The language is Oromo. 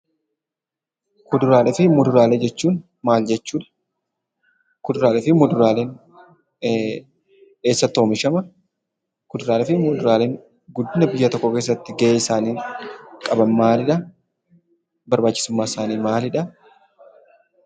Kuduraaleefi muduraalee jechuun maal jechuudha? Kuduraaleefi muduraaleen eessatti oomishama? Kuduraaleefi muduraaleen guddina biyya tokko keessatti ga'en isaan qaban maalidha? Barbaachisumman isaanii maalidha?